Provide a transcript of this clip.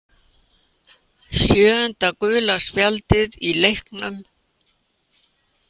Sjöunda gula spjaldið í leiknum.